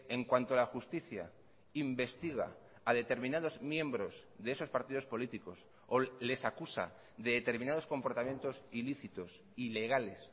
en cuanto a la justicia investiga a determinados miembros de esos partidos políticos o les acusa de determinados comportamientos ilícitos ilegales